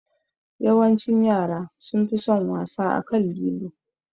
Yawancin yara sunfi son wasa akan lilo